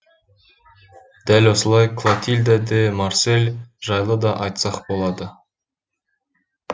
дәл осылай клотильда де марсель жайлы да айтсақ болады